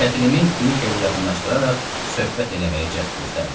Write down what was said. Kətilimi Kvikekə yaxınlaşdıraraq söhbət eləməyə cəhd göstərdim.